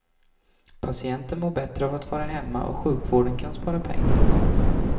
Patienten mår bättre av att vara hemma och sjukvården kan spara pengar.